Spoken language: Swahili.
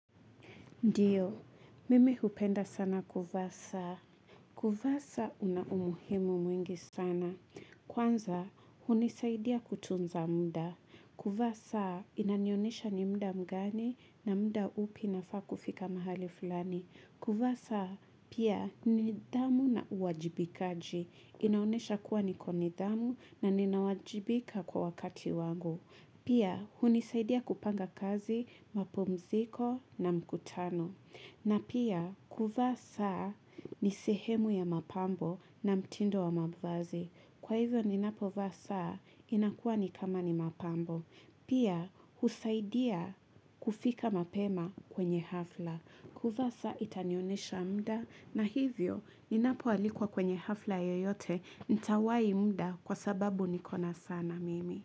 Ndiyo, mimi hupenda sana kuvaa saa. Kuvaa saa una umuhimu mwingi sana. Kwanza, hunisaidia kutunza muda. Kuvaa saa, inanionesha ni muda mgani na muda upi nafaa kufika mahali fulani. Kuvaa saa, pia ni nidhamu na uwajibikaji. Inaonesha kuwa niko nidhamu na ninawajibika kwa wakati wangu. Pia hunisaidia kupanga kazi mapumziko na mkutano. Na pia kuvaa saa ni sehemu ya mapambo na mtindo wa mavazi. Kwa hivyo ninapovaa saa inakua nikama ni mapambo. Pia husaidia kufika mapema kwenye hafla. Kuvaa saa itanionyesha muda na hivyo ninapoalikwa kwenye hafla yeyote nitawai muda kwa sababu niko na sana mimi.